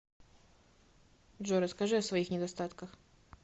джой расскажи о своих недостатках